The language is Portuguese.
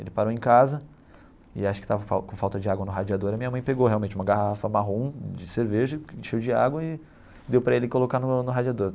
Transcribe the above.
Ele parou em casa, e acho que estava com com falta de água no radiador, e minha mãe pegou realmente uma garrafa marrom de cerveja, cheio de água, e deu para ele colocar no no radiador.